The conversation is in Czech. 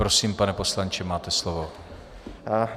Prosím, pane poslanče, máte slovo.